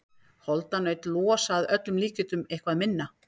Holdanaut losa að öllum líkindum eitthvað minna.